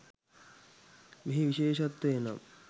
මෙහි විශේෂත්වය නම්